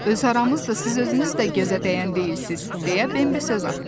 Öz aramızdı, siz özünüz də gözə dəyən deyilsiz, deyə Bembi söz atdı.